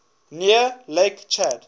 near lake chad